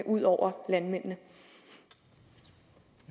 ud over landmændene